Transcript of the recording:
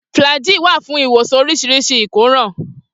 Flagy wà fún ìwòsàn oríṣiríṣi ìkóràn.